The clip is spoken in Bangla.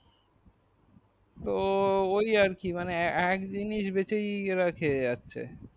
ও ওহ আর কি মানে একজিনিস বেচাই রাখে